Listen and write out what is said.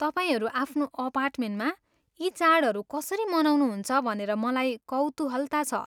तपाईँहरू आफ्नो अपार्टमेन्टमा यी चाडहरू कसरी मनाउनुहुन्छ भनेर मलाई कौतुहलता छ।